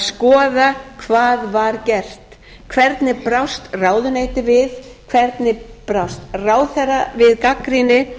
skoða hvað var gert hvernig brást ráðuneytið við hvernig brást ráðherra við gagnrýni